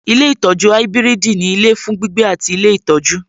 Ilé ìtọjú ibiridi ní ilé fún gbígbé àti ilé ìtọ́jú.